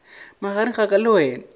magareng a ka le wena